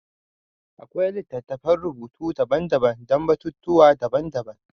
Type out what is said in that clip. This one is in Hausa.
Akwai littattafan rubutu daban-daban don batutuwa daban-daban.